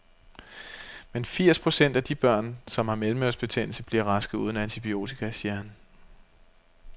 Men firs procent af de børn, som har mellemørebetændelse, bliver raske uden antibiotika, siger han.